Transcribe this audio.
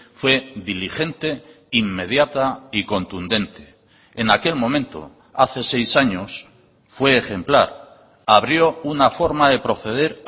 fue diligente inmediata y contundente en aquel momento hace seis años fue ejemplar abrió una forma de proceder